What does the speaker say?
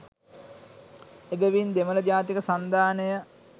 එබැවින් දෙමළ ජාතික සන්ධානය